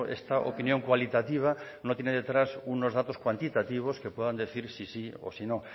esta opinión cualitativa no tiene detrás unos datos cuantitativos que pueden decir si sí o si no